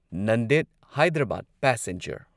Nanded Hyderabad passenger